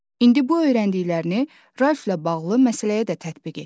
İndi bu öyrəndiklərini Ralflə bağlı məsələyə də tətbiq et.